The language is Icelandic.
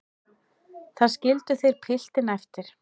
Þar skildu þeir piltinn eftir.